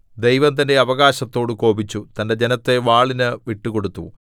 ദൈവം തന്റെ അവകാശത്തോട് കോപിച്ചു തന്റെ ജനത്തെ വാളിന് വിട്ടുകൊടുത്തു